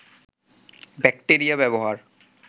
bacteria ব্যবহার